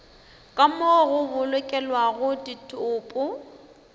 ka moo go bolokelwago ditopo